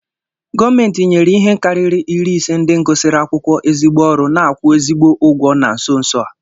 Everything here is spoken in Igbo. Gọọmenti nyere ihe karịrị iri ise ndị gụsịrị akwụkwọ ezigbo ọrụ n'akwu ezigbi ụgwọ na nso nso a